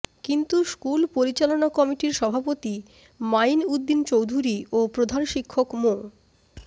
কিন্তু স্কুল পরিচালনা কমিটির সভাপতি মাঈন উদ্দিন চৌধুরী ও প্রধান শিক্ষক মো